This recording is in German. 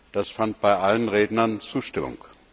Das fand bei allen Rednern Zustimmung.